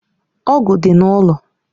Ọ̀gu dị n'ụlọ